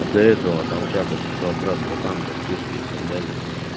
а до этого там в чатах писал брат братан братишка и так далее